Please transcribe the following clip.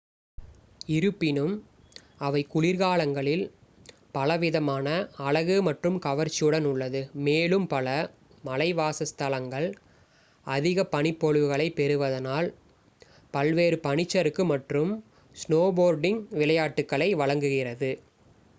இருப்பினும் அவை குளிர்காலங்களில் பலவிதமான அழகு மற்றும் கவர்ச்சியுடனும் உள்ளது மேலும் பல மலைவாச ஸ்தலங்கள் அதிக பனிப்பொழிவுகளை பெறுவதனால் பல்வேறு பனிச்சறுக்கு மற்றும் ஸ்னோபோர்டிங்க் விளையாட்டுக்களை வழங்குகிறது